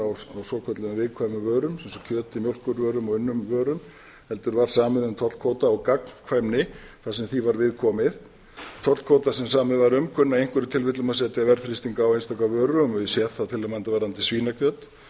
á svokölluðum viðkvæmum vörum svo sem kjöti mjólkurvörum og unnum vörum heldur var samið um tollkvóta og gagnkvæmni þar sem því var viðkomið tollkvótar sem samið var um kunna í einhverjum tilfellum að setja verðþrýsting á einstaka vörur og ég sé það til að mynda varðandi svínakjöt en þess ber